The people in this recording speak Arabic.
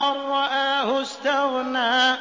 أَن رَّآهُ اسْتَغْنَىٰ